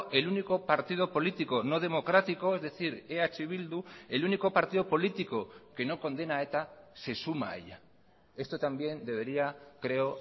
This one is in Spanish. el único partido político no democrático es decir eh bildu el único partido político que no condena a eta se suma a ella esto también debería creo